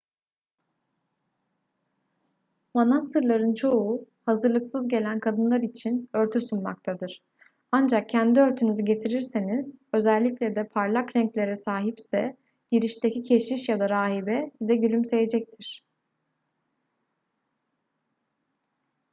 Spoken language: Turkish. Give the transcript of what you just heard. manastırların çoğu hazırlıksız gelen kadınlar için örtü sunmaktadır ancak kendi örtünüzü getirirseniz özellikle de parlak renklere sahipse girişteki keşiş ya da rahibe size gülümseyecektir